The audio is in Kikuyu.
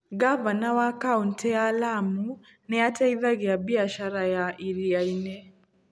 Ngavana wa kaũntĩ ya Lamu nĩ ateithagia biacara ya iria-inĩ.